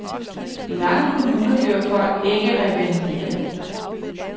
I mange kommuner bliver folk ikke revalideret.